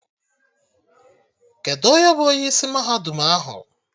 Kedụ onye bụ onye isi mahadum ahụ?